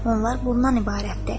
Onlar bundan ibarətdir.